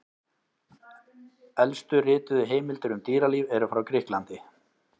Elstu rituðu heimildir um dýralíf eru frá Grikklandi.